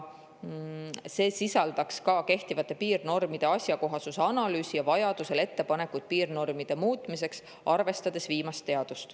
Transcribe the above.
See sisaldab ka kehtivate piirnormide asjakohasuse analüüsi ja vajadusel ettepanekuid piirnormide muutmiseks, arvestades viimast teadmist.